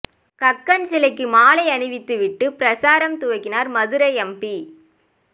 கக்கன் சிலைக்கு மாலை அணிவித்து விட்டு பிரசாரம் துவக்கினார் மதுரை எம்பி